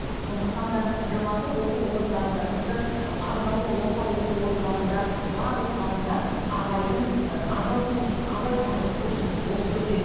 сондықтан да жоғарғы оқу орындарында тіпті арнаулы орта оқу орындарында барлықтарында абайдың абай курсын абайтану курсын оқыту керек